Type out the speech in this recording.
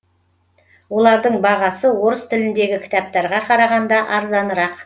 олардың бағасы орыс тіліндегі кітаптарға қарағанда арзанырақ